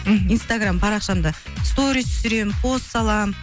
мхм инстаграмм парақшамды сторис түсіремін пост саламын